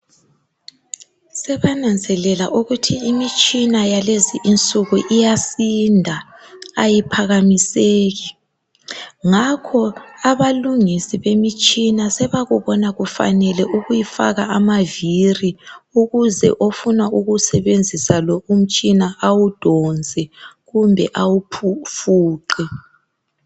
Sebananzelela ukuthi imitshina yalezinsuku iyasinda ayiphakamiseki. Ngakho abalungisi bemtshina sebabona kufanele ukuyifaka amaviri ukuze umuntu ofuna ukusebenzisa umtshina awudonse kumbe awufuqe.